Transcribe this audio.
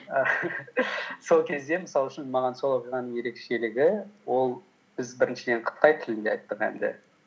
сол кезде мысал үшін маған сол оқиғаның ерекшелігі ол біз біріншіден қытай тілінде айттық әнді